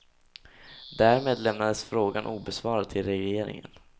Därmed lämnades frågan obesvarad till regeringen.